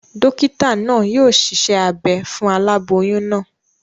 Dókítà naa yio siṣẹ́ abe fún aláboyún naa